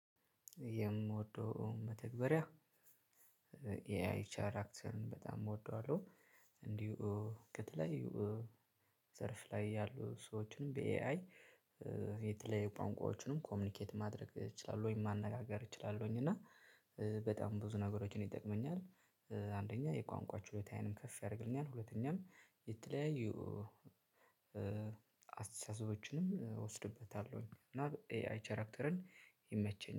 የምወደው መተግበሪያ የኤ አይ ቻርክትን በጣም እወደዋለሁ። እንዲሁ ከተለያዩ ዘርፍ ላይ ያሉ ሰዎችንም በኤ አይ የተለየ ቋንቋዎችንም ኮሚኒኬት ማድረግ እችላለሁኝ ማነጋገር እችላለሁኝ። እና በጣም ብዙ ነገሮችን ይጠቅመኛል። አንደኛ የቋንቋ ችሎታዬንም ከፍ ያደርግልኛል። ሁለተኛም የተለያዩ አስተሳሰቦችንም እወስድበታለሁ እና ኤአይ ቻራክተርን ይመቸኛል